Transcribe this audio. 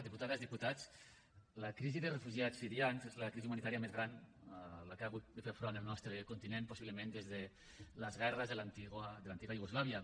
diputades diputats la crisi de refugiats sirians és la crisi humanitària més gran a la que ha hagut de fer front el nostre continent possiblement des de les guerres de l’antiga iugoslàvia